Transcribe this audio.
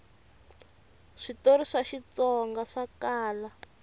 switori swa xitsonga swa kala